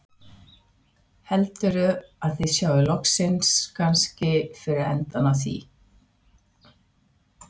Heldurðu að þið sjáið kannski loksins fyrir endann á því?